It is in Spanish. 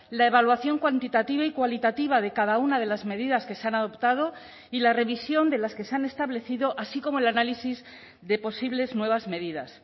la evaluación cuantitativa y cualitativa de cada una de las medidas que se han adoptado y la revisión de las que se han establecido así como el análisis de posibles nuevas medidas